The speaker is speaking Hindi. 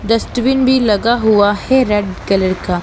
डस्टबिन भी लगा हुआ हैं रेड कलर का।